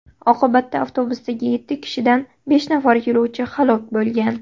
Oqibatda avtobusdagi yetti kishidan besh nafar yo‘lovchi halok bo‘lgan.